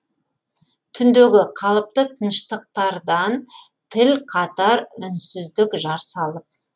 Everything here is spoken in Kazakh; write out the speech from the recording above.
түндегі қалыпты тыныштықтардан тіл қатар үнсіздік жар салып